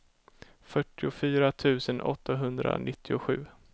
fyrtiofyra tusen åttahundranittiosju